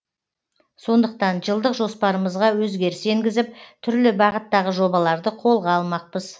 сондықтан жылдық жоспарымызға өзгеріс енгізіп түрлі бағыттағы жобаларды қолға алмақпыз